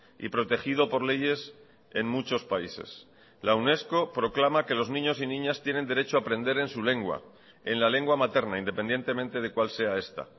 y protegido por leyes en muchos países la unesco proclama que los niños y niñas tienen derecho a aprender en su lengua en la lengua materna independientemente de cuál sea esta